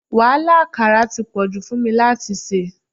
Wàhálà àkàrà ti pọ̀jù fún mi láti ṣe.